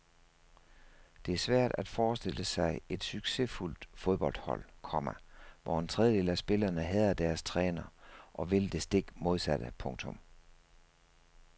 Det er svært at forestille sig et succesfuldt fodboldhold, komma hvor en tredjedel af spillerne hader deres træner og vil det stik modsatte. punktum